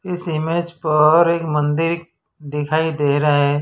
इस इमेज पर एक मंदिर दिखाई दे रहा है।